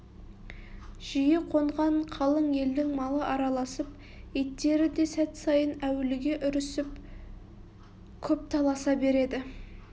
жиі қонған қалың елдің малы араласып иттері де сәт сайын әуліге үрісіп көп таласа береді